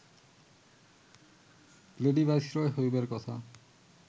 lady viceroy হইবার কথা